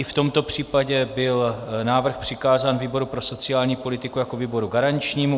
I v tomto případě byl návrh přikázán výboru pro sociální politiku jako výboru garančnímu.